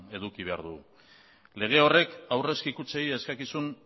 eduki behar dugu lege horrek aurrezki kutxei eskakizun